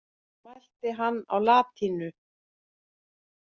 Mælti hann á latínu.